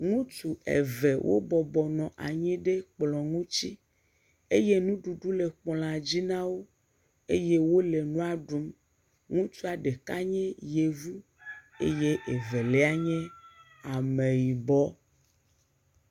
Ŋutsu eve wo bɔbɔnɔ anyi ɖe kplɔ ŋuti eye nuɖuɖu le kplɔa dzi na wo, eye wole nua ɖum, ŋutsua ɖeka nye yevu eye evelia nye ameyibɔ.